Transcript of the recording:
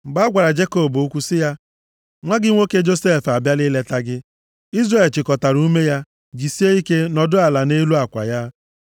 Mgbe a gwara Jekọb okwu sị ya, “Nwa gị nwoke Josef abịala ileta gị.” Izrel chịkọtara ume ya, jisie ike, nọdụ ala nʼelu akwa ya.